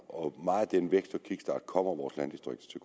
og meget af den vækst og kickstart kommer vores landdistrikter